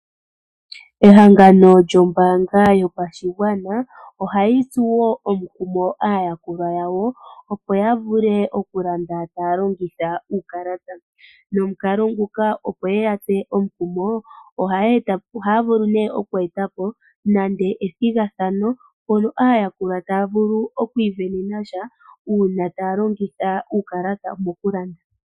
Ehangano lyombaanga yotango yopashigwana ohali tsu omukumo aayakulwa ya wo opo ya vule okulanda taya longitha uukalata. Nomukalo nguka opo yeya tse omukumo, ohaya vulu nee okweeta po ethigathano mpono aayakulwa taya vulu oku kutha ombinga uuna taya longitha uukalata mokulanda.